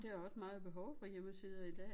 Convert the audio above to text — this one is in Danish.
Der også meget behov for hjemmesider i dag